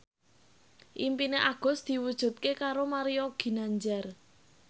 impine Agus diwujudke karo Mario Ginanjar